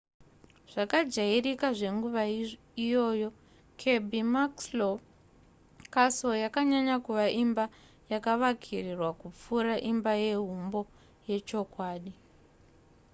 zvakajairika zvenguva iyoyo kirby muxloe castle yakanyanya kuva imba yakavakirirwa kupfuura imbayehumbo yechokwadi